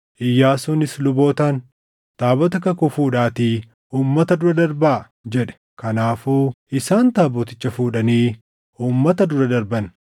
Iyyaasuunis lubootaan, “Taabota kakuu fuudhaatii uummata dura darbaa” jedhe. Kanaafuu isaan taaboticha fuudhanii uummata dura darban.